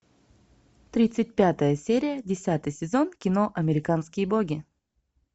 тридцать пятая серия десятый сезон кино американские боги